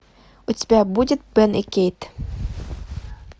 у тебя будет бен и кейт